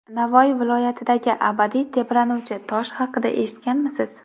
Navoiy viloyatidagi abadiy tebranuvchi tosh haqida eshitganmisiz?.